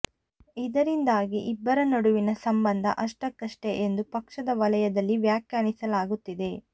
ಇದರಿಂದಾಗಿ ಇಬ್ಬರ ನಡುವಿನ ಸಂಬಂಧ ಅಷ್ಟಕಷ್ಟೇ ಎಂದು ಪಕ್ಷದ ವಲಯದಲ್ಲಿ ವ್ಯಾಖ್ಯಾನಿಸಲಾಗುತ್ತಿದೆ